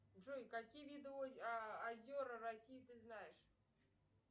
джой какие виды озера россии ты знаешь